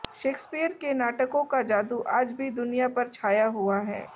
Shakespeare के नाटकों का जादू आज भी दुनिया पर छाया हुआ है